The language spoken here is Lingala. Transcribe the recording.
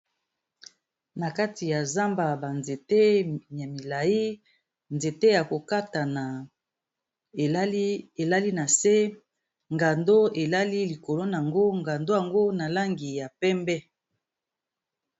Na kati ya zamba ba nzete ya milayi nzete ya ko katana elali na se, ngando elali likolo nango ngando yango na langi ya pembe.